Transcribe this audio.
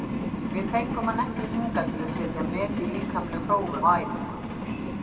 Við fengum hann ekki hingað til að setja met í líkamlegum prófum á æfingum.